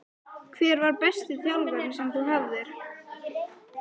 Hver var besti þjálfarinn sem þú hafðir?